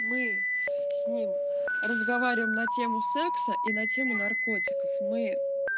мы с ним разговариваем на тему секса и на тему наркотиков мы